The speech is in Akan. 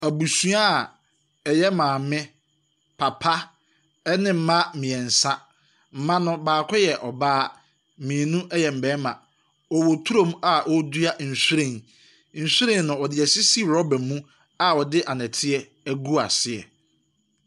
Abuasua a ɛyɛ maame, papa, ne mma mmiɛnsa. Mma no baako yɛ ɔbaa, mmienu yɛ mmarima. Wɔwɔ turo mu a wɔredua nhwiren. Nhwiren no, wɔde rubber mu a wɔde anɔteɛ agu aseɛ.